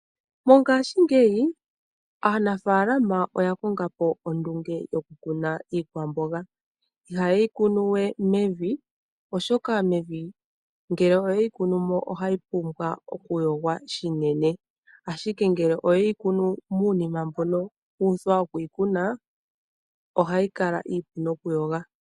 Mongaashingeyi aanafaalama oya konga po ondunge yokukuna iikwamboga. Ihaye yi kunuwe mevi oshoka mevi ngele oye yi kunumo ohayi pumbwa okuyogwa shinene. Ashike ngele oye yi kunu muunima mbono wu uthwa okuyi kuna ohayi kala iipu nokuyogwa.